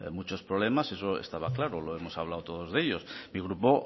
muchos problemas eso estaba claro hemos hablado todos de ello mi grupo